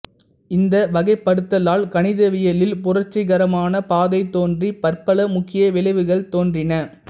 இந்த வகைப்படுத்தலால் கணிதவியலில் புரட்சிகரமான பாதை தோன்றி பற்பல முக்கிய விளைவுகள் தோன்றின